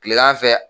Kilegan fɛ